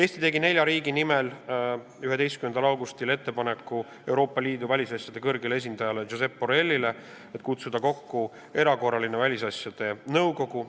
Samal päeval tegi Eesti nelja riigi nimel Euroopa Liidu välisasjade kõrgele esindajale Josep Borrellile ettepaneku kutsuda kokku erakorraline välisasjade nõukogu.